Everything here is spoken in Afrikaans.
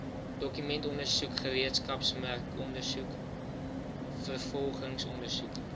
dokumentondersoek gereedskapsmerkondersoek vervolgingsondersoek